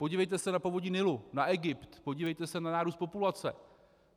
Podívejte se na povodí Nilu, na Egypt, podívejte se na nárůst populace.